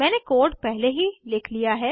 मैंने कोड पहले ही लिख लिया है